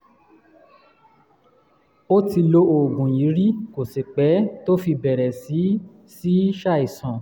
ó ti lo oògùn yìí rí kò sì pẹ́ tó fi bẹ̀rẹ̀ sí í sí í ṣàìsàn